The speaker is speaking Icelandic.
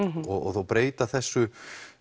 og breyta þessu